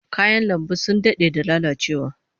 Kayan lambun sun dade da lalacewa